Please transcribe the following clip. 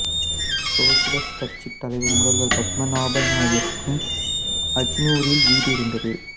சோசலிச கட்சித் தலைவர் முதல்வர் பத்மநாபன் நாயருக்கும் அஜனூரில் வீடு இருந்தது